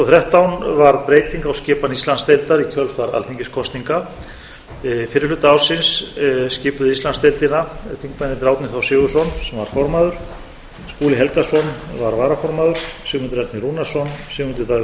þrettán varð breyting á skipan íslandsdeildar í kjölfar alþingiskosninga fyrri hluta ársins skipuðu íslandsdeildina þingmennirnir árni þór sigurðsson sem var formaður skúli helgason var varaformaður sigmundur ernir rúnarsson sigmundur davíð